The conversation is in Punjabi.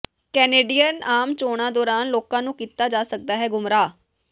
ਕੈਨੇਡੀਅਨ ਆਮ ਚੋਣਾਂ ਦੌਰਾਨ ਲੋਕਾਂ ਨੂੰ ਕੀਤਾ ਜਾ ਸਕਦੈ ਗੁੰਮਰਾਹ